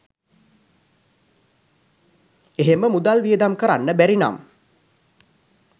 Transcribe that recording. එහෙම මුදල් වියදම් කරන්න බැරි නම්